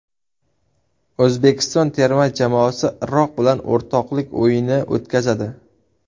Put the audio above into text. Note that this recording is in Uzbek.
O‘zbekiston terma jamoasi Iroq bilan o‘rtoqlik o‘yini o‘tkazadi.